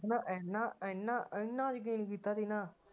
ਮੈ ਇਹਨਾਂ ਇਹਨਾਂ ਇਹਨਾਂ ਯਕੀਨ ਕੀਤਾ ਸੀ ਨਾ